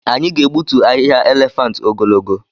Anyị ga-egbutu ahịhịa elephant ogologo.